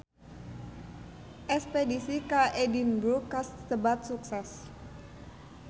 Espedisi ka Edinburg kasebat sukses